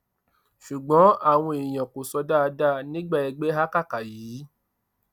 ṣùgbọn àwọn èèyàn kò sọ dáadáa nígbà ẹgbẹ hákàkà yìí